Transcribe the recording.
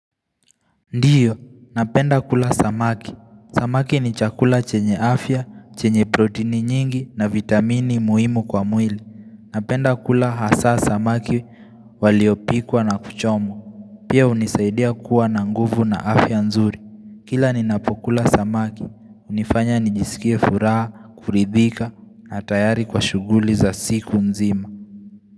Ndiyo, napenda kula samaki. Samaki ni chakula chenye afya, chenye protini nyingi na vitamini muhimu kwa mwili. Napenda kula hasa samaki waliopikwa na kuchomwa. Pia unisaidia kuwa na nguvu na afya nzuri. Kila ni napokula samaki, unifanya nijisikie furaha, kuridhika na tayari kwa shuguli za siku nzima.